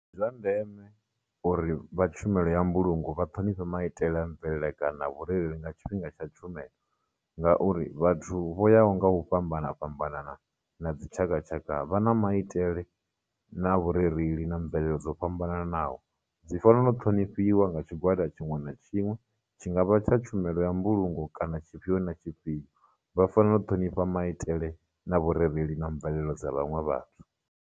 Ndi zwa ndeme uri vha tshumelo ya mbulungo vha ṱhonifhe maitele a mvelele kana vhurereli na tshifhinga tsha tshumelo, ngauri vhathu vho yaho ngau fhambana fhambanana na dzitshakatshaka vha na maitele na vhurereli na mvelelo dzo fhambananaho, dzi fanelo ṱhonifhiwa nga tshigwada tshiṅwe na tshiṅwe, tshi ngavha tsha tshumelo ya mbulungo, kana tshiifhio na tshifhio, vha fanela u ṱhonifha maitele, na vhurereli na mvelelo dza vhaṅwe vhathu.